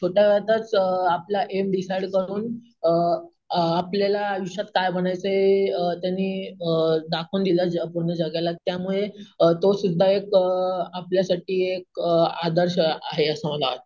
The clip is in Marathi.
,छोट्या वयातच अम आपला एम डिसाईड करून अम अम आपल्याला आयुष्यात काय बनायचे हे त्याने अम दाखवून दिले पूर्ण जगाला त्यामुळे तो सुद्धा एक अम आपल्यासाठी एकअम आदर्श अमआहे असं मला वाटतं